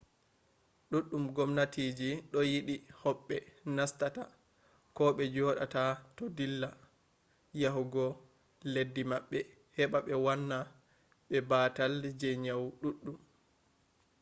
duɗɗum gomnatiji do yidi hoɓɓe nastata koh be jodata do dilla yahugo leddi maɓɓe heba be wanna be batal je nyawoji ɗuɗɗum